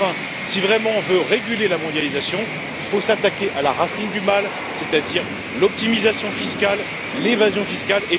Enfin, si on veut véritablement réguler la mondialisation, il faut s'attaquer à la racine du mal, c'est à dire à l'optimisation fiscale et à l'évasion fiscale.